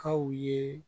Kaw ye